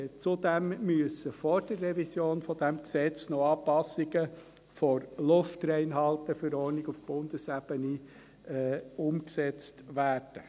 Zudem müssen vor der Revision dieses Gesetzes noch Anpassungen der Luftreinhalte-Verordnung (LRV) auf Bundesebene umgesetzt werden.